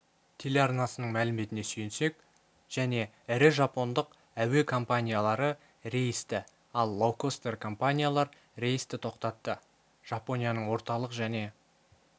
телеарнасының мәліметіне сүйенсек және ірі жапондық әуе компаниялары рейсті ал лоукостер-компаниялар рейсті тоқтатты жапонияның орталық және